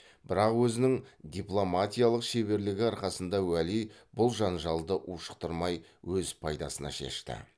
бірақ өзінің дипломатиялық шеберлігі арқасында уәли бұл жанжалды ушықтырмай өз пайдасына шешті